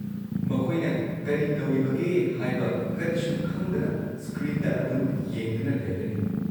ꯃꯈꯣꯏꯅ ꯀꯔꯤ ꯇꯧꯔꯤꯕꯒꯦ ꯍꯥꯏꯕ ꯀꯔꯤꯁꯨ ꯈꯪꯗꯅ ꯁ꯭ꯀ꯭ꯔꯤꯟꯗ ꯑꯗꯨꯝ ꯌꯦꯡꯗꯨꯅ ꯂꯩꯔꯅꯤ꯫